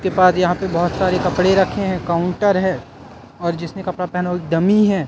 इसके बाद यहाँ पर बहोत सारे कपड़े रखे हैं काउंटर है और जिसने कपडा पहना है वो डमी हैं।